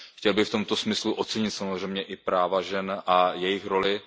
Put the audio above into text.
Chtěl bych v tomto smyslu ocenit samozřejmě i práva žen a jejich roli.